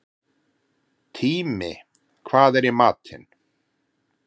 Tími, hvað er í matinn?